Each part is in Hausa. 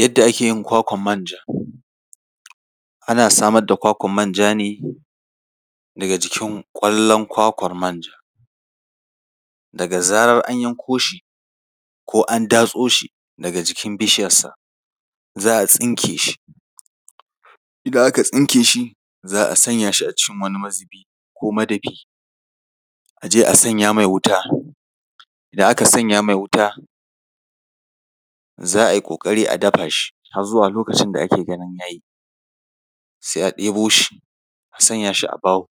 Yadda ake yin kwakwar manja. Ana samar da kwakwar manja ne daga jikin ƙwallon kwakwar manja. Daga zarar an yanko shi ko an datso shi daga jikin bishiyarsa, za a tsinke shi. Idan aka tsinke shi, za a sanya shi a cikin wani mazubi ko madafi, a je a sanya mai wuta. Idan aka sanya mai wuta, za a yi ƙoƙari a dafa shi har zuwa lokacin da ake ganin ya yi, sai a debo shia sanya shi a baho,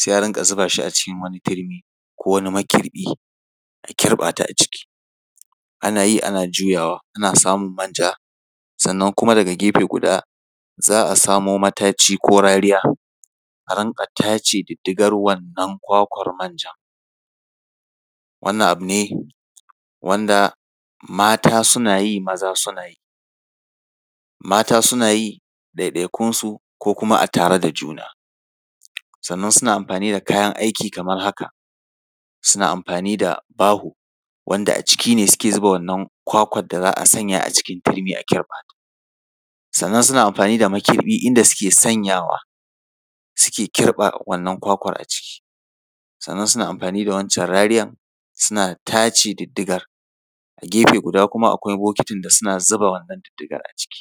sai a rinƙa zuba shi a cikin wani turmi ko wani makirɓi, a kirɓa ta a ciki, ana yi ana juyawa, ana samun manja. Sannan kuma daga gefe guda, za a samo mataci ko rariya a rinƙa tace wannan diddigar kwakwar manjan. Wannan abu ne wanda mata suna yi, maza suna yi. Mata suna yi ɗaiɗaikunsu, ko kuma a tare da juna. Sannan suna amfani da kayan aiki kamar haka: suna amfani da baho, wanda a ciki ne suke zuba wannan kwakwar da za a sanya a cikin turmi a kirɓa. Sannan suna amfani da makirɓi inda suke sanyawa, suke kirɓa wannan kwakwar a ciki. Sannan suna amfani da waccan rariyar, suna tace diddigar. A gefe guda kuma akwai bokitin da suna zuba wannan diddigar a ciki.